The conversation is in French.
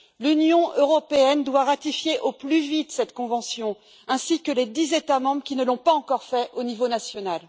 L'Union européenne doit ratifier au plus vite cette convention, ainsi que les dix États membres qui ne l'ont pas encore fait au niveau national.